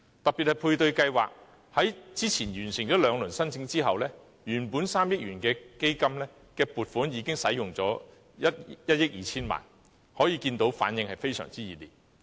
特別是配對計劃在早前完成兩輪申請後，原本3億元的基金撥款已使用了1億 2,000 萬元，可見反應非常熱烈。